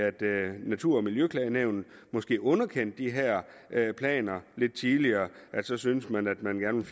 natur og miljøklagenævnet måske underkendte de her planer lidt tidligere og så syntes man at man gerne